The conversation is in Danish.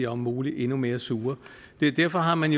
om muligt endnu mere sure derfor har man